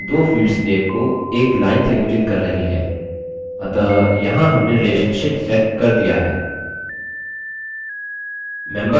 ध्यान दें इन दो field names को एक line संयोजित कर रही है अतः यहाँ हमने relationship set कर दिया है